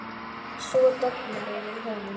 Svo dofnar yfir honum.